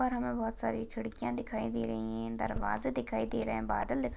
ऊपर हमे बहुत सारी खिड्किया दिखाई दे रही है दरवाजा दिखाई दे रहा है बादल--